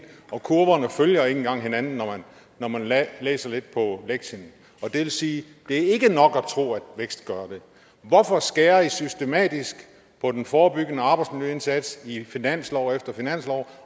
og kurverne følger ikke engang hinanden når man man læser lidt på lektien og det vil sige at det ikke er nok at tro at vækst gør det hvorfor skærer i systematisk på den forebyggende arbejdsmiljøindsats i finanslov efter finanslov